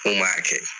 N ko m'a kɛ